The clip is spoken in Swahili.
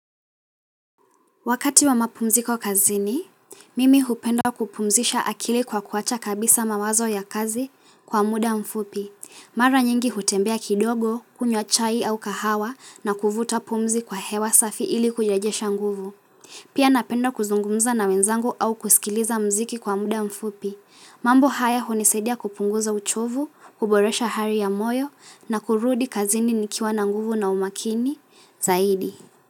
Wakati wa mapumziko kazini, mimi hupenda kupumzisha akili kwa kuwacha kabisa mawazo ya kazi kwa muda mfupi. Mara nyingi hutembea kidogo, kunywa chai au kahawa na kuvuta pumzi kwa hewa safi ili kujejesha nguvu. Pia napenda kuzungumza na wenzangu au kusikiliza mziki kwa muda mfupi. Mambo haya hunisadia kupunguza uchovu, kuboresha hari ya moyo na kurudi kazini nikiwa na nguvu na umakini zaidi.